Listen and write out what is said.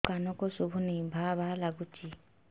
ମୋ କାନକୁ ଶୁଭୁନି ଭା ଭା ଲାଗୁଚି